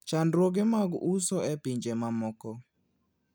Chandruoge mag uso e pinje mamoko.